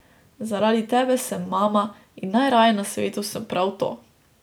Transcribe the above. Zaradi tebe sem mama in najraje na svetu sem prav to.